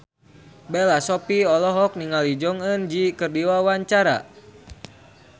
Bella Shofie olohok ningali Jong Eun Ji keur diwawancara